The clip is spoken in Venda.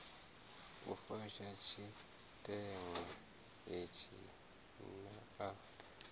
u fusha tshiteṅwa itshi naa